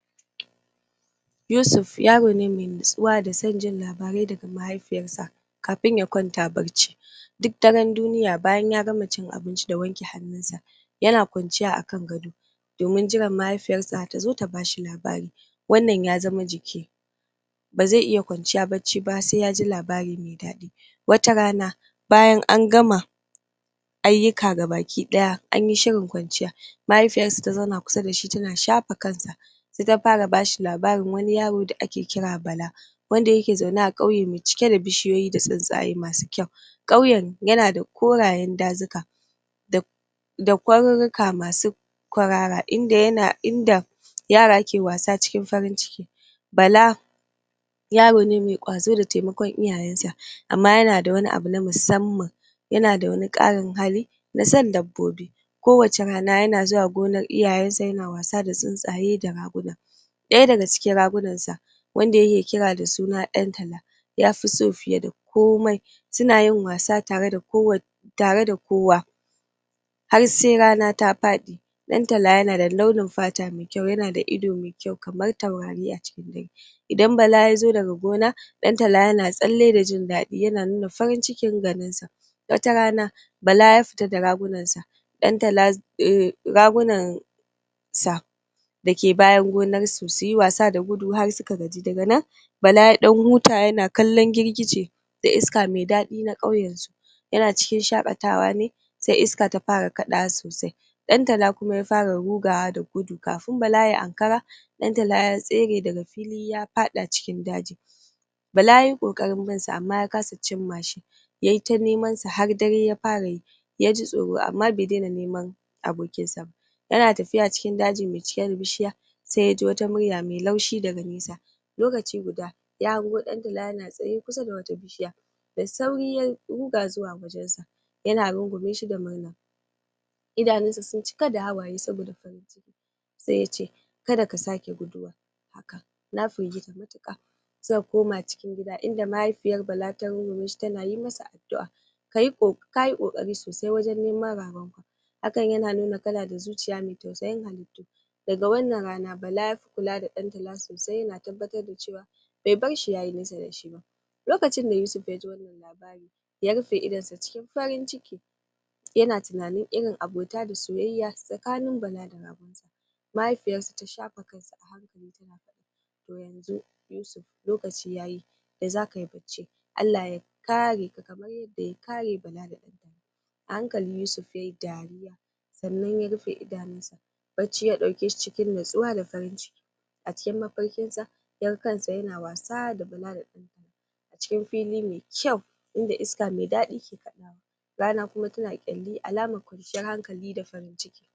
Yusuf yaro ne mai natsuwa da sabon jin labarai daga mahaifinsa kafin ya kwanta bacci duk daren duniya. Bayan ya gama cin abinci da wanke hannunsa yana kwanciya a kan gado domin jiran mahaifiyarsa tazo ta ba shi labari. Wannan ya zama jiki ba zai iya kwanciya bacci ba sai ya ji labari mai daɗi Watarana bayan an gama ayyuka gabaki ɗaya, an yi shirin kwanciya, mahaifiyarsa ta zauna kusa da shi tana shafa kansa sai ta fara ba shi labarin wani yaro da ake kira Bala wanda yake zaune a ƙauye cike da bishiyoyi da tsuntsaye masu kyau. Ƙauyen yana da korayen dajuka da da ƙwarƙwata masu ƙwarara inda yana inda yara ke wasa a cikin farin cikin Bala yaro ne mai ƙwazo da taimakon iyayensa, amma yana da wani abu na musamman yana da wani ƙarin hali na son dabbobi Kowacce rana yana zuwa gonar iyayensa yana wasa da tsuntsaye da raguna Ɗaya daga cikin ragunansa wanda yake kira da suna Dan Tala yafi so fiye da komai Suna yin wasa tare da kowa har sai rana ta faɗi Dan Tala yana da launin fata mai kyau, yana da ido mai kyau kamar taurari a cikin dare Da Bala ya zo daga gona, Dan Tala yana tsalle da jin daɗi yana nuna farin cikin ganin sa Wata rana Bala ya fita da ragunansa dan tala ragunansa dake bayan gonarsa su yi wasa da gudu har suka gaji. Daga nan Bala ya dan huta yana kallon girgije da iska mai daɗi na ƙauyensu Yana cikin shakatawa ne sai iska ta fara kadawa sosai. Dan Tala kuma ya fara rugawa da gudu. Kafin Bala ya ankara Dan Tala ya tsere daga filin ya faɗa cikin daji Bala yayi ƙoƙarin binsa amma ya kasa cimma shi Yayi ta neman sa har dare ya fara yi. Yaji tsoro amma bai daina neman abokinsa ba Yana tafiya cikin dajin mai cike da bishiya, sai yaji wani murya mai laushi daga nesa Lokaci guda ya hango Dan Tala yana tsaye kusa da wata bishiya Da sauri ya ruga zuwa wajen sa, yana rungume shi da murna idanunsa ya cika da hawaye saboda farin ciki Kada ka sake guduwa haka na firgita matuƙa Suka koma cikin gida inda mahaifiyar Bala ta rungume shi tana yi masa addu’a Ka yi ƙoƙari sosai wajen neman ragonmu Hakan yana nuna kana da zuciya mai tausayi Daga wannan rana Bala ya kula da Dan Tala sosai, yana tabbatar da cewa bai bar shi yayi nesa da shi ba Lokacin da Yusuf ya ji wannan labarin ya rufe idanunsa cikin farin ciki yana tunanin irin abota da soyayya tsakanin Bala da ragon sa Mahaifiyarsa ta shafa kansa a hankali tana faɗaToh yanzu Yusuf Allah ya kare ka kamar yadda ya kare Bala da Dan Tala A hankali Yusuf yayi dariya, sannan ya rufe idanunsa bacci ya ɗauke shi cikin natsuwa da farin ciki A cikin mafarkin nesa ya ga kansa yana wasa da Bala da Dan Tala a cikin fili mai kyau inda iska mai daɗi ke kadawa rana kuma tana kyalli alamar kwanciyar hankali da farin ciki